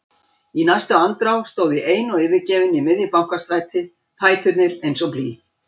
Í næstu andrá stóð ég ein og yfirgefin í miðju Bankastræti, fæturnir eins og blý.